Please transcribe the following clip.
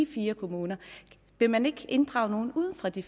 fire kommuner vil man ikke inddrage nogen uden for de